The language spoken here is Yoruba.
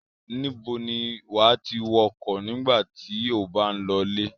Níbo ni wà á ti wọkọ̀ nígbà tí ó bá ń lọlé?